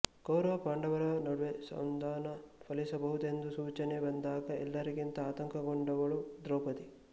ಕೌರವ ಪಾಂಡವರ ನಡುವೆ ಸಂಧಾನ ಫಲಿಸಬಹುದೆಂಬ ಸೂಚನೆ ಬಂದಾಗ ಎಲ್ಲರಿಗಿಂತ ಆತಂಕಗೊಂಡವಳು ದ್ರೌಪದಿ